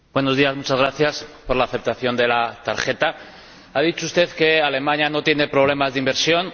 Señor Lucke, muchas gracias por la aceptación de la tarjeta. Ha dicho usted que Alemania no tiene problemas de inversión.